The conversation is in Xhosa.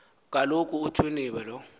kaloku uthwinibe lo